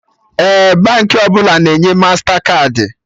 Ee, Baankị ọbụla na-enye mastakaadị